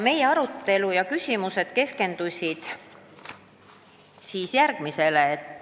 Meie arutelu ja küsimused keskendusid järgmisele.